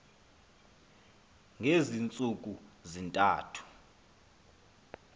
ngezi ntsuku zintathu